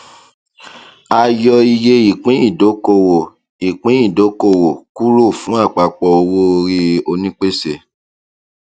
a yọ iye ìpín ìdókòwò ìpín ìdókòwò kúrò fún àpapọ owó orí onípèsè